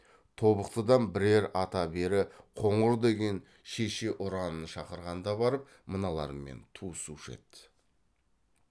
тобықтыдан бірер ата бері қоңыр деген шеше ұранын шақырғанда барып мыналармен туысушы еді